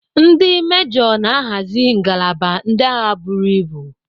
Ndi mejoo na-ahazi ngalaba ndị agha buru ibu.